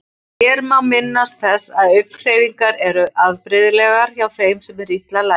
Hér má minnast þess að augnhreyfingar eru afbrigðilegar hjá þeim sem eru illa læsir.